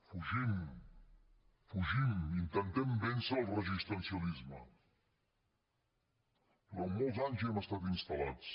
fugim fugim intentem vèncer el resistencialisme durant molts anys hi hem estat instal·lats